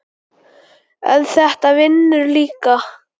en þetta vinnur líka.